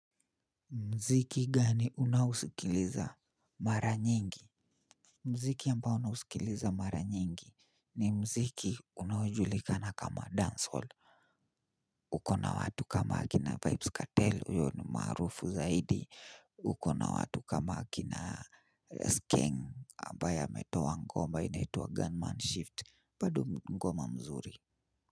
Muziki gani unaosikiliza mara nyingi? Muziki ambao nausikiliza mara nyingi ni muziki unaojulikana kama dancehall. Uko na watu kama akina Vybz Kartel huyo ni maarufu zaidi. Uko na watu kama akina Skeng ambaye ametoa ngoma inaitwa Gunman Shift bado ngoma mzuri.